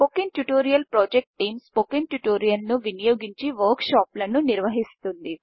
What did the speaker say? spoken tutorial project team spoken ట్యుటోరియల్స్ను వినియోగించి work షాపులను నిర్వహిస్తుంది